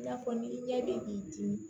I n'a fɔ ni i ɲɛ bɛ k'i dimi